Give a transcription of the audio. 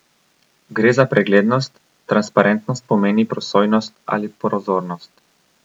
Gre za preglednost, transparentnost pomeni prosojnost ali prozornost.